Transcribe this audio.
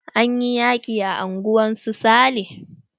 Anyi yaƙi a unguwar su sale.